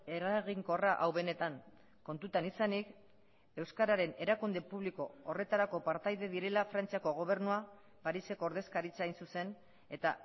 eraginkorra hau benetan kontutan izanik euskararen erakunde publiko horretarako partaide direla frantziako gobernua pariseko ordezkaritza hain zuzen eta